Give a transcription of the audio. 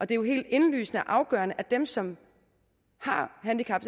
det er jo helt indlysende og afgørende at dem som har handicap